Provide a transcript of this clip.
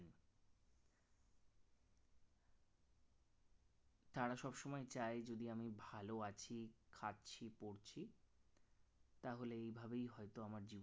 তারা সবসময় চায় যদি আমি ভালো আছি খাচ্ছি পরছি তাহলে এইভাবেই হয়তো আমার জীবন